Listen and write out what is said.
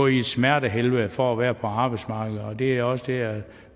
i et smertehelvede for at være på arbejdsmarkedet og det er også det jeg